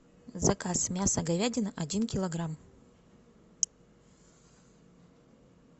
заказ мясо говядина один килограмм